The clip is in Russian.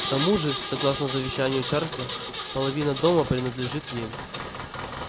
к тому же согласно завещанию чарлза половина дома принадлежит ей